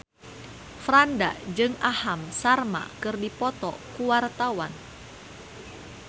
Franda jeung Aham Sharma keur dipoto ku wartawan